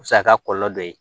O bɛ se ka kɛ kɔlɔlɔ dɔ ye